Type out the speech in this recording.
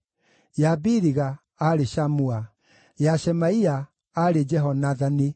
ya Biliga, aarĩ Shamua; ya Shemaia, aarĩ Jehonathani;